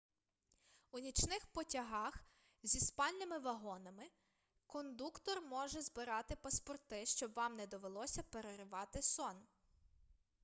у нічних потягах зі спальними вагонами кондуктор може збирати паспорти щоб вам не довелося переривати сон